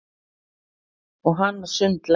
Og hana sundlar.